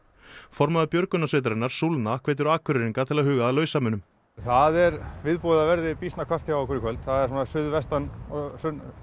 formaður björgunarsveitarinnar hvetur Akureyringa til að huga að lausamunum það er viðbúið að það verði býsna hvasst hjá okkur í kvöld það er svona suðvestan og